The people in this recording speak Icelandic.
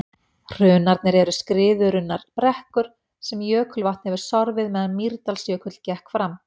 Hrunarnir eru skriðurunnar brekkur sem jökulvatn hefur sorfið meðan Mýrdalsjökull gekk framar.